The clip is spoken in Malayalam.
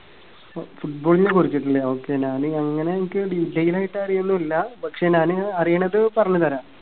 ഫ Football നെ കുറിച്ചിട്ടല്ലേ? okay ഞാന് അങ്ങനെ എനിക്ക് detail ആയിട്ട് അറിയുവോന്നുമില്ല. പക്ഷേ ഞാന് അറിയണത് പറഞ്ഞുതരാം.